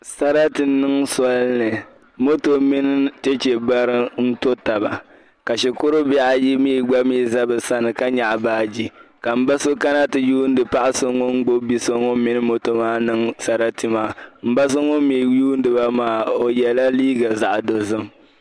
Sarati niŋ soli ni moto mini chɛchɛ bara n to taba ka shikurubihi ayi mi gba za bɛ sani ka nyaɣi baaje ka m ba'so kana ti yuuni paɣa so ŋuni gbubi bi'so mini moto niŋ sarati maa m ba'so ŋuni mi yuniba maa o yɛla liiga zaɣ'dozim.